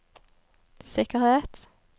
sikkerhet